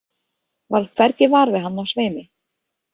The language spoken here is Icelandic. Varð hvergi var við hann á sveimi.